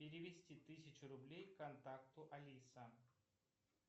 перевести тысячу рублей контакту алиса